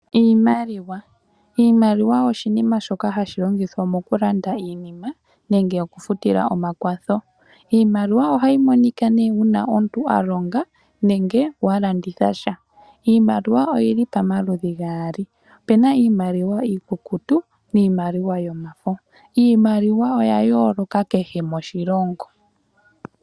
Iimaliwa Iimaliwa oshinima shoka hashi longithwa mokulanda iinima nenge okufutila omakwatho. Iimaliwa ohayi monika uuna omuntu wa longa nenge wa landitha sha. Iimaliwa oyi li pamaludhi gaali, opu na iimaliwa iikukutu niimaliwa yomafo. Iimaliwa oya yooloka kehe moshilongo.